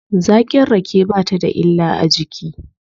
Zaƙin rake ba ta da illa a jiki.